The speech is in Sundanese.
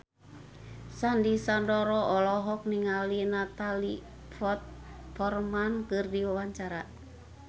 Sandy Sandoro olohok ningali Natalie Portman keur diwawancara